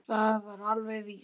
Það var alveg víst.